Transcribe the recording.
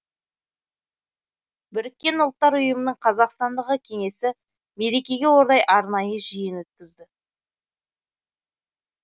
біріккен ұлттар ұйымының қазақстандағы кеңесі мерекеге орай арнайы жиын өткізді